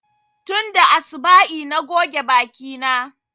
Tunda asuba'i na goge baki na